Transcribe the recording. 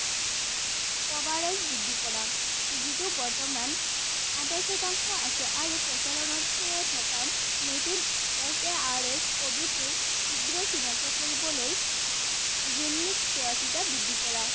যিটো বৰ্তমান আঠাইশ শতাংশ আছে আৰু প্ৰচলনৰ থকা নতুন S A R S covid টোৰ শীঘ্ৰে চিনাক্ত কৰিবলৈ চোৱাচিতা বৃদ্ধি কৰা।